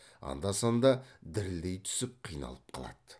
анда санда дірілдей түсіп қиналып қалады